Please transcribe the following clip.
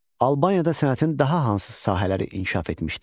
Albaniyada sənətin daha hansı sahələri inkişaf etmişdi?